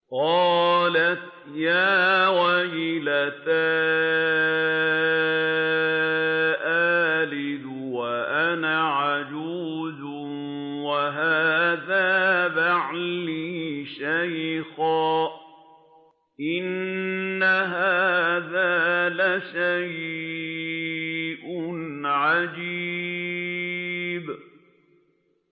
قَالَتْ يَا وَيْلَتَىٰ أَأَلِدُ وَأَنَا عَجُوزٌ وَهَٰذَا بَعْلِي شَيْخًا ۖ إِنَّ هَٰذَا لَشَيْءٌ عَجِيبٌ